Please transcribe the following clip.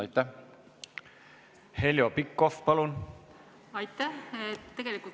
Aitäh!